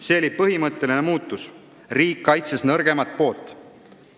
See oli põhimõtteline muutus: riik kaitses nõrgemat poolt.